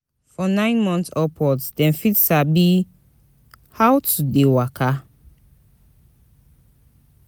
From nine months upwards dem fit sabi how to de waka